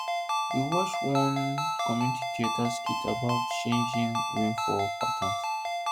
we watch one community theatre skit about changing rainfall patterns